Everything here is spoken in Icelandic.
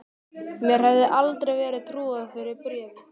Mér hefði aldrei verið trúað fyrir bréfi.